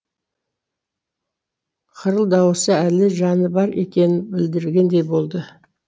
қырыл даусы әлі жаны бар екенін білдіргендей болды